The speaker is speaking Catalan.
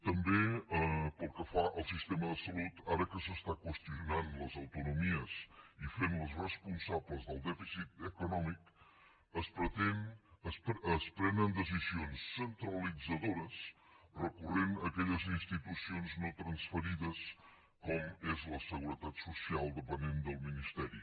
també pel que fa al sistema de salut ara que s’estan qüestionant les autonomies i fent les responsables del dèficit econòmic es prenen decisions centralitzadores recorrent a aquelles institucions no transferides com és la seguretat social dependent del ministeri